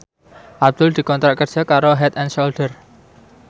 Abdul dikontrak kerja karo Head and Shoulder